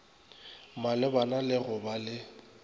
malebana le go ba le